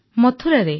ମଥୁରାରେ